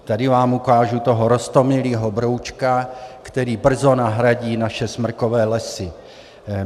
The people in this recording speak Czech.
Tady vám ukážu toho roztomilého broučka , který brzo nahradí naše smrkové lesy.